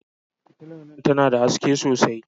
Fitilar nan tana da haske sosai.